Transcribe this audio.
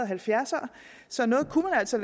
halvfjerds ere så noget kunne vi altså